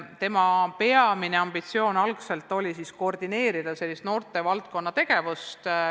Asutuse peamine ambitsioon oli alguses koordineerida noortevaldkonna tegevust.